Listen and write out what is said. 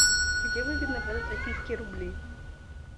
где выгодно продать российские рубли